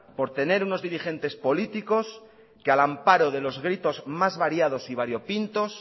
por tener unos dirigentes políticos que al amparo de los gritos más variados y variopintos